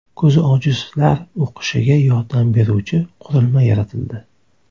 Ko‘zi ojizlar o‘qishiga yordam beruvchi qurilma yaratildi.